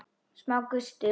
Smá gustur.